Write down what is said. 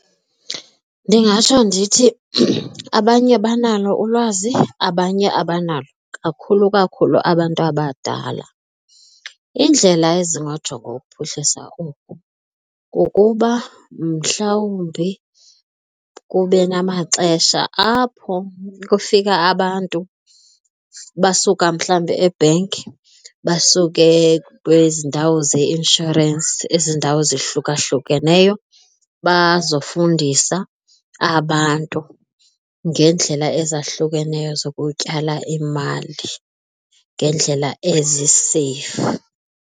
Ndingatsho ndithi abanye banalo ulwazi, abanye abanalo, kakhulu kakhulu abantu abadala. Iindlela ezingajongwa ukuphuhlisa oku kukuba mhlawumbi kube namaxesha apho kufika abantu basuka mhlawumbi e-bank basuke kwezi ndawo zeinshorensi, ezi ndawo zahlukahlukeneyo bazofundisa abantu ngeendlela ezahlukeneyo zokutyala imali ngeendlela eziseyifu.